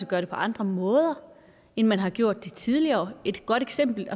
gøre det på andre måder end man har gjort det på tidligere et godt eksempel